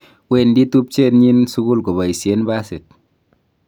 wendi tubchenyin sukul koboisien basit